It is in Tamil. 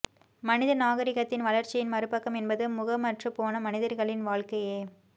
மனித நாகரீகத்தின் வளர்ச்சியின் மறுபக்கம் என்பது முகமற்றுப்போன மனிதர்களின் வாழ்க்கையே